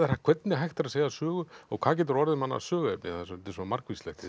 hvernig hægt er að segja sögur og hvað getur orðið manni að söguefni þetta er svo margvíslegt í